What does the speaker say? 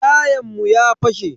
Tayan mu ya fashe.